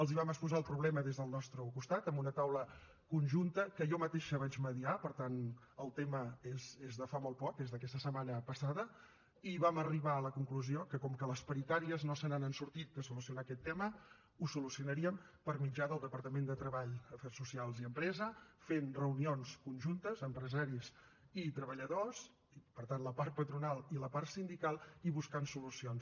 els vam exposar el problema des del nostre costat en una taula conjunta que jo mateixa vaig mitjançar per tant el tema és de fa molt poc és d’aquesta setmana passada i vam arribar a la conclusió que com que les paritàries no se n’han sortit de solucionar aquest tema ho solucionaríem per mitjà del departament de treball afers socials i empresa fent reunions conjuntes empresaris i treballadors per tant la part patronal i la part sindical i buscant solucions